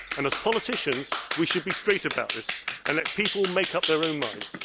tune'. As politicians, we should be straight about this, and let people make up their own